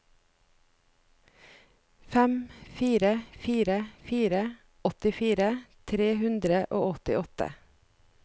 fem fire fire fire åttifire tre hundre og åttiåtte